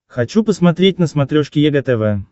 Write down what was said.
хочу посмотреть на смотрешке егэ тв